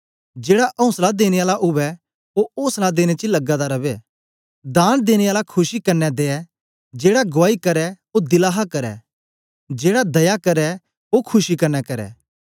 जेड़ा औसला देने आला उवै ओ औसला देने च लगा दा रवै दान देने आला खुशी कन्ने दे जेड़ा गुआई करै ओ दिला हा करै जेड़ा दया करै ओ खुशी कन्ने करै